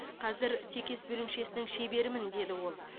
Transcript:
қазір текес бөлімшесінің шеберімін деді ол